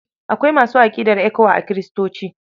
Akwai masu aƙidar ECWA a Kiristoci.